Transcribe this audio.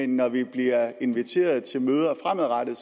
når vi bliver inviteret til møder fremadrettet